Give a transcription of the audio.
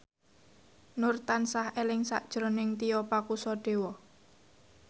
Nur tansah eling sakjroning Tio Pakusadewo